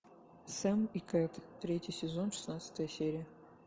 сэм и кэт третий сезон шестнадцатая серия